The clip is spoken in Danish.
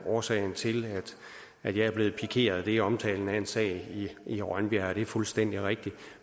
årsagen til at jeg er blevet pikeret er omtalen af en sag i rønbjerg det er fuldstændig rigtigt